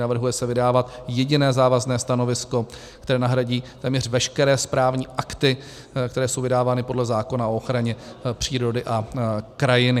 Navrhuje se vydávat jediné závazné stanovisko, které nahradí téměř veškeré správní akty, které jsou vydávány podle zákona o ochraně přírody a krajiny.